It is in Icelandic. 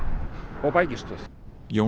og bækistöð Jón